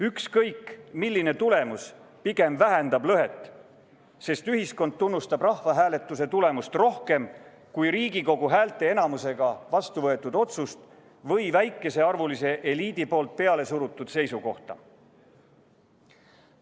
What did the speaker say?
Ükskõik milline tulemus pigem vähendab lõhet, sest ühiskond tunnustab rahvahääletuse tulemust rohkem kui Riigikogu häälteenamusega vastuvõetud otsust või väikesearvulise eliidi poolt pealesurutud seisukohta.